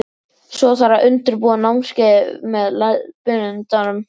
Svo þarf að undirbúa námskeiðið með leiðbeinandanum.